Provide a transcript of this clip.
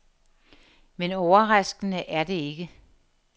Men overraskende er det ikke.